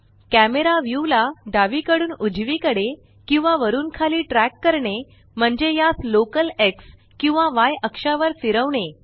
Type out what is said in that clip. camera view ला डावीकडून उजवीकडे किंवा वरुन खाली ट्रक करणे म्हणजे यास लोकल Xकिंवा य अक्षावर फिरवणे